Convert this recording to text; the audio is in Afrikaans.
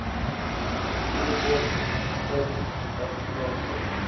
groter suid afrikaanse